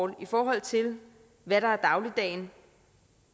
i forhold til hvad der er dagligdagen